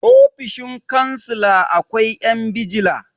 ofoshin kansila akwai 'yan bijila